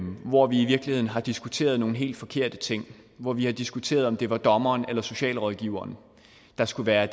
hvor vi i virkeligheden har diskuteret nogle helt forkerte ting hvor vi har diskuteret om det var dommeren eller socialrådgiveren der skulle være